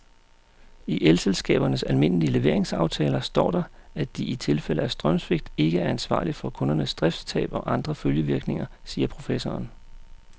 I elselskabernes almindelige leveringsaftaler står der, at de i tilfælde af strømsvigt ikke er ansvarlig for kundernes driftstab og andre følgevirkninger, siger professoren.